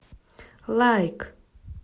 лайк